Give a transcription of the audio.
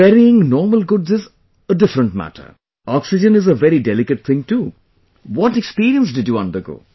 Ferrying normal goods is a different matter, Oxygen is a very delicate thing too, what experience did you undergo